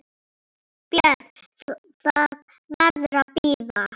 BJÖRN: Það verður að bíða.